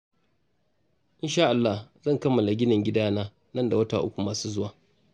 Insha'Allah zan kammala ginin gidana nan da wata uku masu zuwa